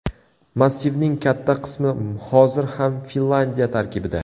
Massivning katta qismi hozir ham Finlyandiya tarkibida.